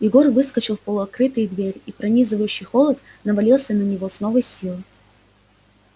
егор выскочил в полуоткрытые двери и пронизывающий холод навалился на него с новой силой